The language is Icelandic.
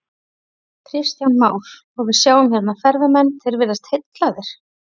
Kristján Már: Og við sjáum hérna ferðamenn, þeir virðast heillaðir?